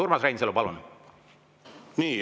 Urmas Reinsalu, palun!